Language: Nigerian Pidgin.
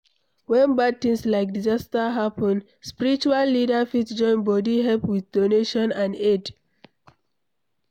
When bad thing like disaster happen, spiritual leader fit join bodi help with donation and aid